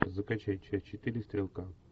закачай часть четыре стрелка